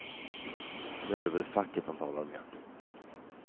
Nu är det väl facket han talar med.